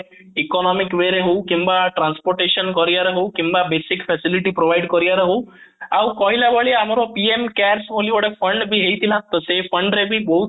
economic way ରେ ହଉ କିମ୍ବା transportation ଜରିଆରେ ହଉ କିମ୍ବା basic facilities provide କରିବାର ହଉ ଆଉ କହିଲା ଭଳିଆ ଆମର PM camp ବୋଲି ଆମର fund ଟେ ହେଇଥିଲା ତ ସେଇ fund ରେ ବି ବହୁତ